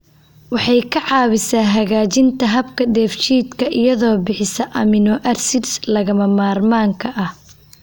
Waxay ka caawisaa hagaajinta habka dheefshiidka iyadoo bixisa amino acids lagama maarmaanka ah.